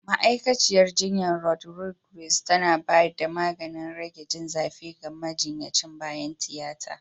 Ma'aikaciyar jinya Rodriguez tana ba da maganin rage jin zafi ga majinyacin bayan tiyata.